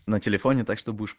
на телефоне так что будешь